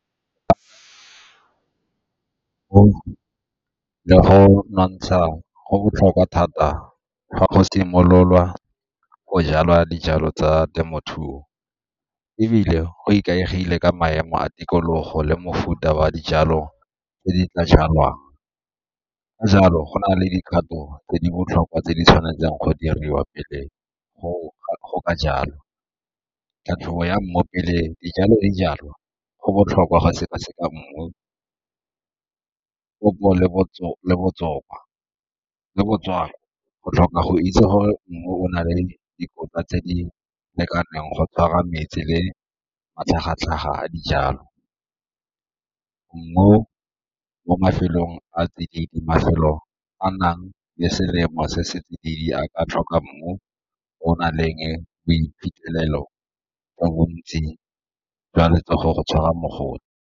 Le go nontsha go botlhokwa thata fa go simololwa go jalwa dijalo tsa temothuo, ebile go ikaegile ka maemo a tikologo le mofuta wa dijalo tse di tla jalwang. Ka jalo go na le dikgato tse di botlhokwa tse di tshwanetseng go diriwa pele go ka jalo. Tlhatlhobo ya mmu pele dijalo di jalwa, go botlhokwa go seka-seka mmu, go tlhoka go itse gore mmu o na le dikotla tse di lekaneng go tshwara metsi le matlhagatlhaga a dijalo. Mmu mo mafelong a tsididi mafelo a nang le selemo se se tsididi a ka tlhoka mmu o nang le jo bontsi jwa letsogo go tshwara .